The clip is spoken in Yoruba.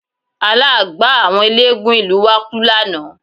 Àlágbáà àwọn eléégún ìlú wa kú lánàá